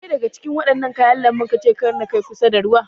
Wanne daga Cikin wadannan kayan lanbu kace Kar na Kai kusa da ruwa?